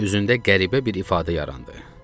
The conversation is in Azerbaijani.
Üzündə qəribə bir ifadə yarandı.